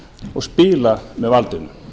og spila með valdinu